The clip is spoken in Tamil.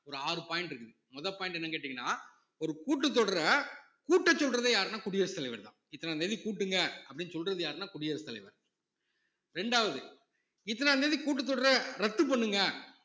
ஒரு ஆறு point இருக்கு முத point என்னன்னு கேட்டீங்கன்னா ஒரு கூட்டத் தொடரை கூட்டச் சொல்றதே யாருன்னா குடியரசுத் தலைவர்தான் இத்தனாம் தேதி கூட்டுங்க அப்படின்னு சொல்றது யாருன்னா குடியரசுத் தலைவர் இரண்டாவது இத்தனாம் தேதி கூட்டுத்தொடர்ரை ரத்து பண்ணுங்க